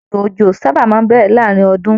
Ìgbà òjò sábà máa n bẹrẹ láàrin ọdún.